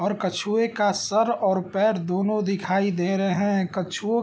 और कछुवे का सर और पैर दोनों दिखाई दे रहे है कछुवो --